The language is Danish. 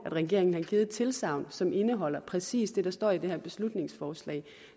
regeringen har givet et tilsagn som indeholder præcis det der står i det her beslutningsforslag